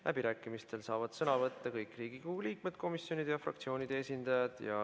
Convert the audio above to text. Läbirääkimistel saavad sõna võtta kõik Riigikogu liikmed, komisjonide ja fraktsioonide esindajad.